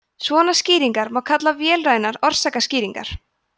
svona skýringar má kalla vélrænar orsakaskýringar